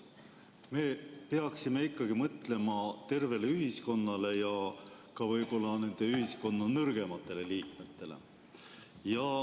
Me peaksime ikkagi mõtlema tervele ühiskonnale ja ka ühiskonna nõrgematele liikmetele.